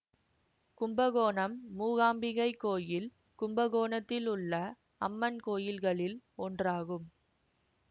கும்பகோணம் மூகாம்பிகை கோயில் கும்பகோணத்தில் உள்ள அம்மன் கோயில்களில் ஒன்றாகும்